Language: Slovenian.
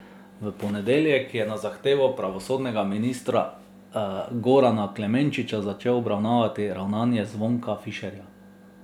V ponedeljek je na zahtevo pravosodnega ministra Gorana Klemenčiča začel obravnavati ravnanje Zvonka Fišerja.